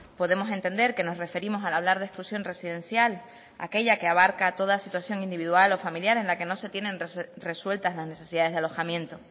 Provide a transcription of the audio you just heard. podemos entender que nos referimos al hablar de exclusión residencial a aquella que abarca toda situación individual o familiar en la que no se tienen resueltas las necesidades de alojamiento